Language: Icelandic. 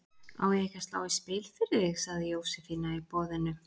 Á ég ekki að slá í spil fyrir þig? sagði Jósefína í boðinu.